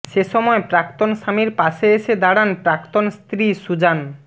সেসময় প্রাক্তন স্বামীর পাশে এসে দাড়ান প্রাক্তন স্ত্রী সুজান